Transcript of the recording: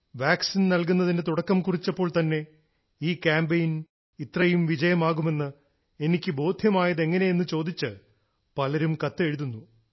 vaccine നൽകുന്നതിന് തുടക്കം കുറിച്ചപ്പോൾ തന്നെ ഈ കാമ്പയിൽ ഇത്രയും വിജയമാകുമെന്ന് എനിക്ക് ബോധ്യമായത് എങ്ങനെയെന്ന് ചോദിച്ച് പലരും കത്തെഴുതുന്നു